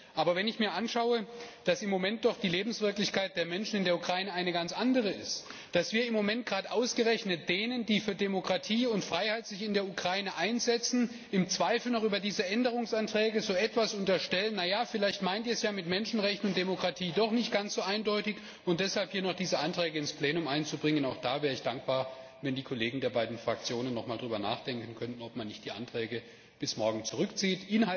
Aber wenn ich mir anschaue, dass im Moment doch die Lebenswirklichkeit der Menschen in der Ukraine eine ganz andere ist, dass wir im Moment gerade denjenigen, die sich für Demokratie und Freiheit in der Ukraine einsetzen, im Zweifel noch über diese Änderungsanträge so etwas unterstellen wie Na ja, vielleicht meint Ihr es ja mit Menschenrechten und Demokratie doch nicht ganz so eindeutig und deshalb hier noch diese Anträge ins Plenum einbringen, dann wäre ich dankbar, wenn die Kollegen der beiden Fraktionen noch einmal darüber nachdenken könnten, ob man nicht bis morgen die Anträge zurückzieht.